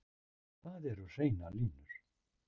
Það eru hreinar línur